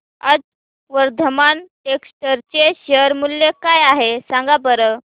आज वर्धमान टेक्स्ट चे शेअर मूल्य काय आहे सांगा बरं